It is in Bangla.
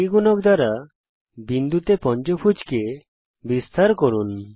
3 গুণক দ্বারা বিন্দুতে পঞ্চভূজ কে বিস্তার করুন